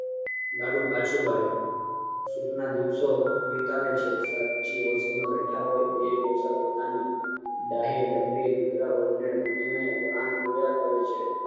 લાડુ પાછુ વાળી સુખના દિવસો વિતાવે છે સાચી બેઠા હોય બેય ડોસા પોતાની ડહે ડમરી દીકરા વોવ ને જોયા કરે છે